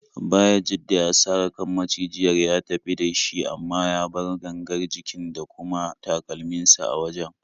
Bayajidda ya sare kan macijiyar ya tafi da shi, amma ya bar gangar jikin da kuma takalminsa a wajen.